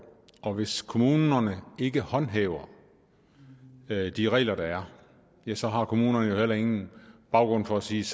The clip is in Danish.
hvis kommunerne ikke håndhæver de regler der er så har kommunerne jo heller ingen baggrund for at sige